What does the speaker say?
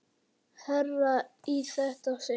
Hærra í þetta sinn.